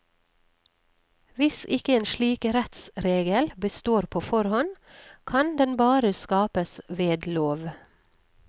Hvis ikke en slik rettsregel består på forhånd, kan den bare skapes ved lov.